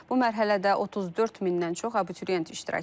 Bu mərhələdə 34 mindən çox abituriyent iştirak edir.